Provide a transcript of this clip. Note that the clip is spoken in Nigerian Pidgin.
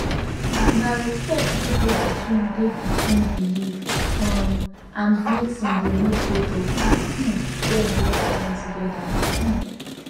na respect wey dey between dey between belief um and medicine dey make both of um dem work fine together um